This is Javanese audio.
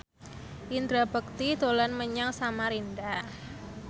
Indra Bekti dolan menyang Samarinda